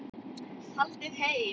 Haldið heim